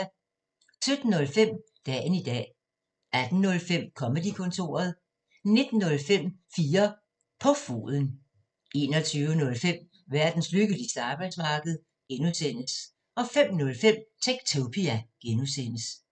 17:05: Dagen i dag 18:05: Comedy-kontoret 19:05: 4 på foden 21:05: Verdens lykkeligste arbejdsmarked (G) 05:05: Techtopia (G)